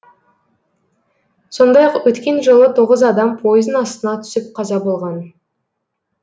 сондай ақ өткен жылы тоғыз адам пойыздың астына түсіп қаза болған